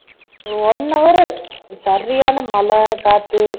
one hour சரியான மழை காத்து